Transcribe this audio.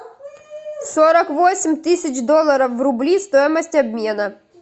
сорок восемь тысяч долларов в рубли стоимость обмена